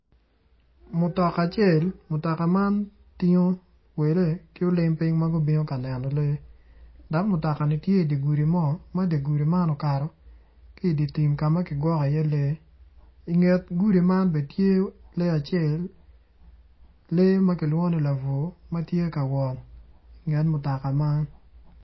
Mutoka acel, mutoka man tingo tingo welle ki olim piny ma gubino ka neno lee dok mutoka man tye i dye gudi ma okato ki i dye tim ka ma kigwoko iye lee i nget gudi man bene tye lee acel lee ma kilwongo ni labwor tye ka wot i nget mutoka man.